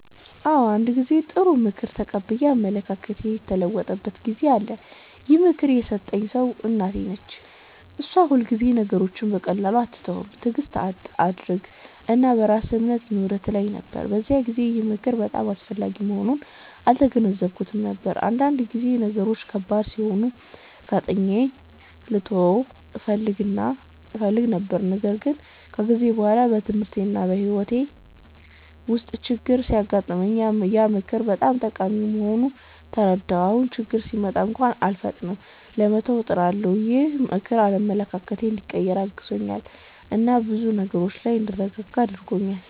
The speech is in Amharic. አዎ፣ አንድ ጊዜ ጥሩ ምክር ተቀብዬ አመለካከቴ የተለወጠበት ጊዜ አለ። ይህን ምክር የሰጠኝ ሰው እናቴ ነች። እሷ ሁልጊዜ “ነገሮችን በቀላሉ አትተው፣ ትዕግስት አድርግ እና በራስህ እምነት ይኑርህ” ትለኝ ነበር። በዚያን ጊዜ ግን ይህ ምክር በጣም አስፈላጊ መሆኑን አልተገነዘብኩትም ነበር፤ አንዳንድ ጊዜ ነገሮች ከባድ ሲሆኑ ፈጥኜ ልተው እፈልግ ነበር። ግን ከጊዜ በኋላ በትምህርቴና በሕይወቴ ውስጥ ችግኝ ሲገጥመኝ ያ ምክር በጣም ጠቃሚ መሆኑን ተረዳሁ። አሁን ችግኝ ሲመጣ እንኳን አልፈጥንም ለመተው፣ እጥራለሁ። ይህ ምክር አመለካከቴን እንዲቀይር አግዞኛል እና በብዙ ነገሮች ላይ እንድረጋጋ አድርጎኛል።